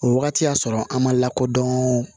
O wagati y'a sɔrɔ an ma lakodɔn